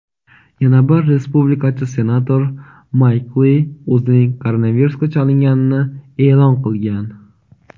yana bir respublikachi senator Mayk Li o‘zining koronavirusga chalinganini e’lon qilgan.